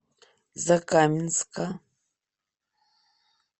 закаменска